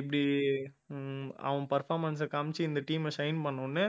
இப்படி அவன் performance ஐ காமிச்சு இந்த team அ shine பண்ண உடனே